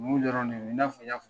Dɔrɔnw de bɛ yen i n'a fɔ n y'a fɔ.